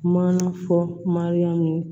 Maana fɔ mariyamu